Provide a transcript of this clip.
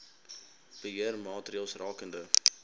beheer maatreëls rakende